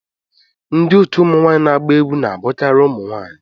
Ndị otu ụmụ nwanyị na-agba egwu na-abụkarị ụmụ nwanyị